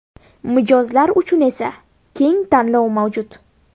Mijozlar uchun esa keng tanlov mavjud.